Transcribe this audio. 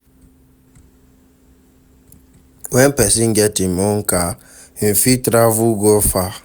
When person get im own car, im fit travel go far